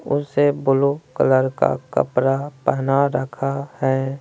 उसे blue colour का कपड़ा पहना रखा हैं।